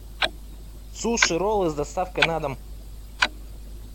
суши роллы с доставкой на дом